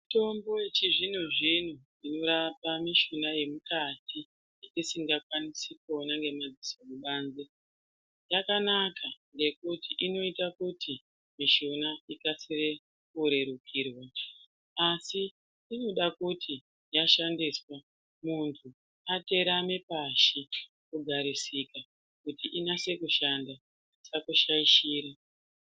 Mitombo yechizvinozvino inorapa mishuna yemukati, yetisingakwanisi kuona ngemadziso kubanze yakanaka ngekuti inoita kuti mishuna ikasire kurerukirwa, asi inoda kuti yashandiswa, muntu aterame pashi, kugarisika kuti inase kushanda, isakushaishire.